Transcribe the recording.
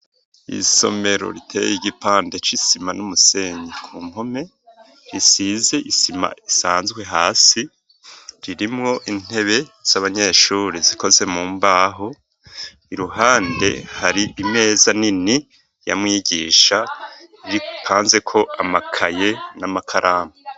Isomero riteye igipande c'isima n'umusenyi ku mpome, risize isima isanzwe hasi, ririmwo intebe z'abanyeshuri zikoze mu mbaho, iruhande hari imeza nini ya mwigisha, ipanzeko amakaye n'amakaramu.